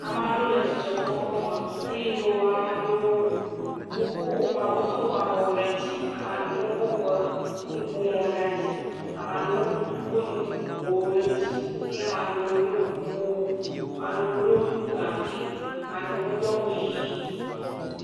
Ame aɖewo le dzidzɔkpɔkpɔ me eye ame aɖewo woko wodo woƒe abɔwo ɖe dzi. Ame aɖewo hã kɔ woƒe nuƒomɔwo ɖe dzi eye ame aɖewohã kɔ nu bubuwo ɖe dzi ye ame aɖewo ɖo kuku, ame aɖewo ɖo gaŋkui. Ame aɖewo do awu ʋi.